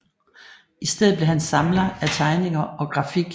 I stedet blev han samler af tegninger og grafik